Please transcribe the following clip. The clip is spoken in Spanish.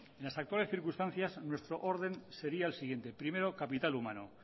en las actuales circunstancias nuestro orden sería el siguiente primero capital humano